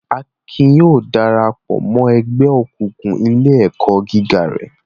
Akin yóò dara pọ̀ mọ́ ẹgbẹ́ òkùnkùn ilé-ẹ̀kọ́ gíga rẹ̀.